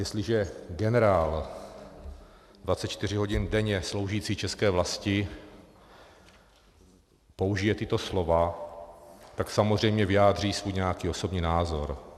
Jestliže generál 24 hodin denně sloužící české vlasti použije tato slova, tak samozřejmě vyjádří svůj nějaký osobní názor.